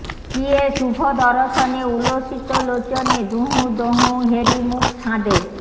কিয়ে শুভ দরশনে উলসিত লোচনে দুহুঁ দোহুঁ হেরি মুখ ছাঁদে